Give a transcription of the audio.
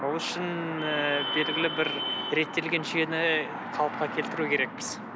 ол үшін ыыы белгілі бір реттелген жүйені қалыпқа келтіру керекпіз